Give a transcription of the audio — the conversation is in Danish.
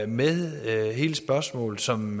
med hele spørgsmålet som